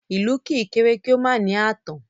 Ilù kì í kere kì o ma ni aatan